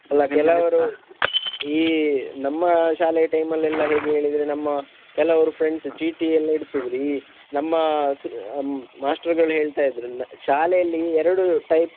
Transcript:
ಈ ನಮ್ಮ ಶಾಲೆಯ time ಲ್ಲಿ ಎಲ್ಲಾ ಹೇಗೆ ಹೇಳಿದ್ರೆ ನಮ್ಮ ಕೆಲವರು friends ಚೀಟಿ ಎಲ್ಲ ಇಡತಿದ್ರು ಈ ನಮ್ಮ ಸ~ ಮಾಸ್ಟರಗಳ ಹೇಳ್ತಾ ಇದ್ರು ಶಾಲೆಯಲ್ಲಿ ಎರಡು type ನ.